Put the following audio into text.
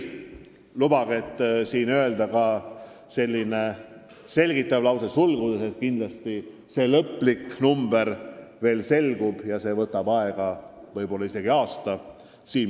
Lõplik arv veel selgub ja võtab võib-olla isegi aasta aega, enne kui ma selle arvu teile öelda saan.